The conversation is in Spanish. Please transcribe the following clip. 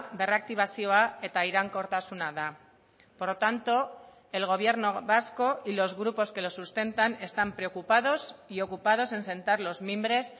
berraktibazioa eta iraunkortasuna da por lo tanto el gobierno vasco y los grupos que los sustentan están preocupados y ocupados en sentar los mimbres